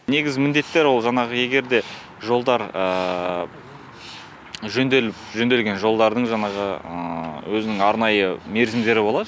негізгі міндеттер ол жаңағы егер де жолдар жөнделіп жөнделген жолдардың жаңағы өзінің арнайы мерзімдері болады